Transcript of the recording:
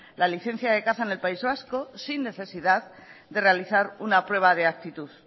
la licencia de caza en el país vasco sin necesidad de realizar una prueba de actitud